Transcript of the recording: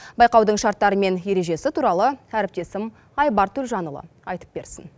байқаудың шарттары мен ережесі туралы әріптесім айбар төлжанұлы айтып берсін